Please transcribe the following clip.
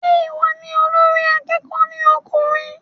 Se ìwọ ni olórí akẹ́kọ̀ọ́ ní ọkùnrin?